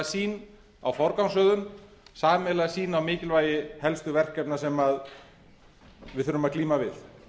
sýn á forgangsröðun sameiginlega sýn á mikilvægi helstu verkefna sem við þurfum að glíma við